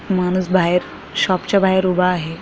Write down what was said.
माणूस बाहेर शॉपच्या बाहेर उभा आहे.